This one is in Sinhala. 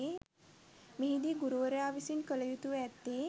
මෙහිදී ගුරුවරයා විසින් කළයුතුව ඇත්තේ